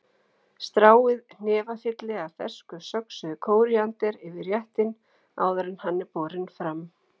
Stráið hnefafylli af fersku söxuðu kóríander yfir réttinn áður en hann er borinn fram.